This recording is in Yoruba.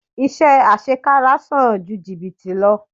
Iṣẹ́ àṣekára san ju jìbìtì lọ.